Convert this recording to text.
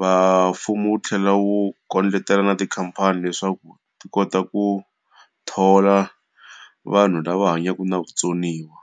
Va mfumo wu tlhela wu kucetela na tikhampani leswaku ti kota ku thola vanhu lava hanyaka na vutsoniwa.